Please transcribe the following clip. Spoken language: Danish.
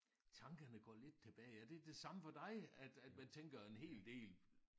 Tankerne går lidt tilbage er det det samme for dig at at man tænker en hel del